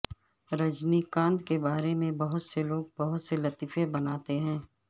رجنی کانت کے بارے میں بہت سے لوگ بہت سے لطیفے بناتے ہیں